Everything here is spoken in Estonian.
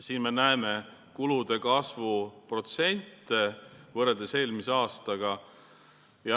Siin me näeme kulude kasvu protsente võrreldes eelmise aastaga.